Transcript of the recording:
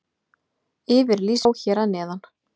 Yfirlýsinguna má sjá hér að neðan.